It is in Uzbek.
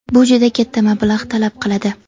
Bu juda katta mablag‘ talab qiladi.